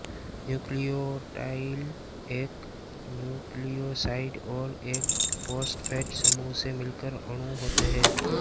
nucleotide एक nucleoside और एक फॉस्फेट समूह से मिलकर अणु होते हैं